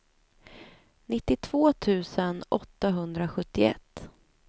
nittiotvå tusen åttahundrasjuttioett